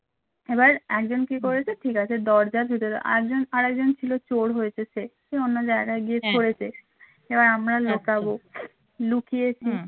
এবার একজন কি করেছে ঠিক আছে দরজার ভেতরে আর একজন ছিল চোর হয়েছে সে সে অন্য জায়গায় গিয়ে করেছে এবার আমরা লুকাব লুকিয়েছি